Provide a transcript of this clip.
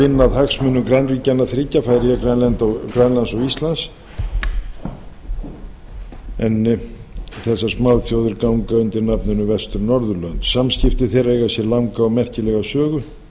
vinna að hagsmunum grannríkjanna þriggja færeyja grænlands og íslands en þessar smáþjóðir ganga undir nafninu vestur norðurlönd samskipti þeirra eiga sér langa og merkilega sögu